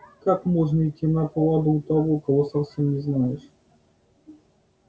как можно идти на поводу у того кого совсем не знаешь